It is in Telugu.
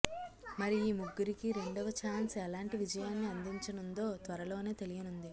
మరి ఈ ముగ్గురికి రెండవ ఛాన్స్ ఎలాంటి విజయాన్ని అందించనుందో త్వరలోనే తెలియనుంది